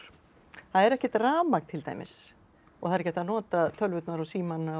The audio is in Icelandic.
það er ekkert rafmagn til dæmis og það er ekki hægt að not a tölvurnar og símana